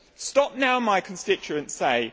Stop now', my constituents say.